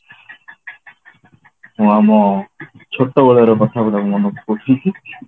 ହଁ ମୋ ଛୋଟ ବେଳର କଥା ଗୁଡାକ ମନେ ପଡୁଛି